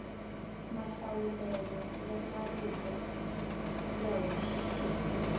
mahlawulelo ya marito ya hoxekile